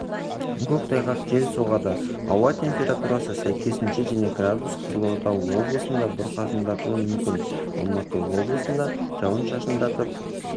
көктайғақ жел соғады ауа температурасы сәйкесінше және градус қызылорда облысында бұрқасындатуы мүмкін алматы облысында жауын-шашындатып